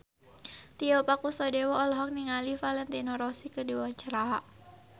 Tio Pakusadewo olohok ningali Valentino Rossi keur diwawancara